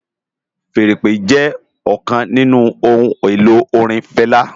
Fèèrè ìpè jè òkán ninù óhùn-éló órin Fela